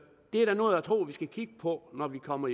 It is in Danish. er da noget jeg tror vi skal kigge på når vi kommer